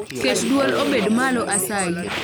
Ket dwol obed malo asayi